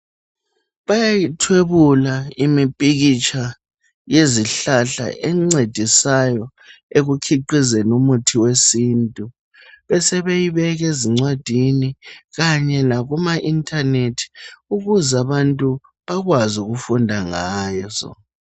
Bayayithwebula imipikitsha yezihlahla encedisayo ekukhiqhizeni umuthi wesintu ,besebeyibeka ezincwadini kanye lakuma intaneti ukuze abantu bakwazi ukufunda ngazo.